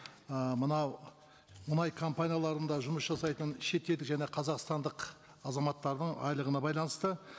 ы мынау мұнай компанияларында жұмыс жасайтын шетел және қазақстандық азаматтардың айлығына байланысты